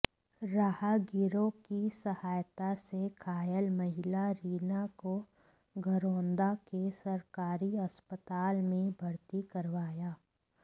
राहगीरों की सहायता से घायल महिला रीना को घरौंडा के सरकारी अस्पताल में भर्ती करवाया